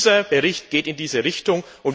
Dieser Bericht geht in diese Richtung.